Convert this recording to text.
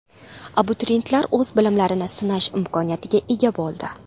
Abituriyentlar o‘z bilimlarini sinash imkoniga ega bo‘ldi.